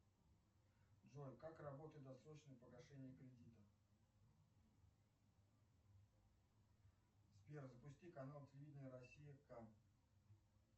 джой как работает досрочно погашение кредита сбер запусти канал телевидения россия кам